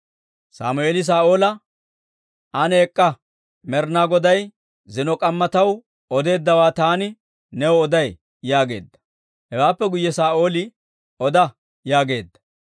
Sammeeli Saa'oola, «Ane ek'k'a; Med'inaa Goday zino k'amma taw odeeddawaa taani new oday» yaageedda. Hewaappe guyye Saa'ooli, «Oda» yaageedda.